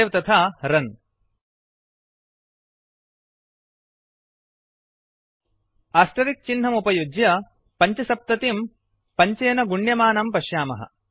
save तथा run asterisk चिह्नम् उपयुज्य 75पञ्चसप्ततिं 5 पञ्चेन गुण्यमानं पश्यामः